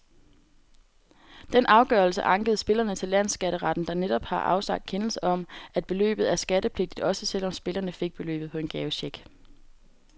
Den afgørelse ankede spillerne til landsskatteretten, der netop har afsagt kendelse om, at beløbet er skattepligtigt, også selv om spillerne fik beløbet på en gavecheck.